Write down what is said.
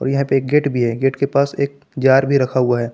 यहां पे एक गेट भी है गेट के पास एक जार भी रखा हुआ है।